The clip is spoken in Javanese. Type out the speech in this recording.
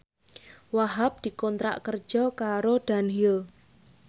Wahhab dikontrak kerja karo Dunhill